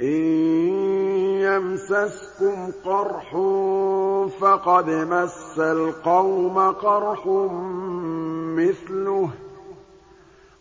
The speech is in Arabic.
إِن يَمْسَسْكُمْ قَرْحٌ فَقَدْ مَسَّ الْقَوْمَ قَرْحٌ مِّثْلُهُ ۚ